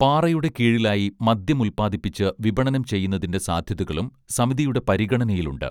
പാറയുടെ കീഴിലായി മദ്യം ഉല്പാദിപ്പിച്ച് വിപണനം ചെയ്യുന്നതിന്റെ സാധ്യതകളും സമിതിയുടെ പരിഗണനയിലുണ്ട്